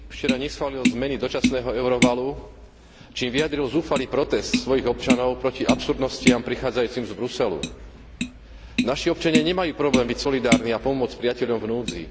Parlament mojej krajiny včera neschválil zmeny dočasného Eurovalu, čím vyjadril zúfalý protest svojich občanov proti absurdnostiam prichádzajúcim z Bruselu. Naši občania nemajú problém byť solidárni a pomôcť priateľom v núdzi.